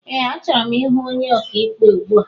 Ee a chọrọ m ịhụ ónyé ọkà ikpe ugbua.